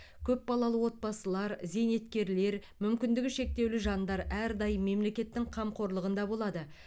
көпбалалы отбасылар зейнеткерлер мүмкіндігі шектеулі жандар әрдайым мемлекеттің қамқорлығында болады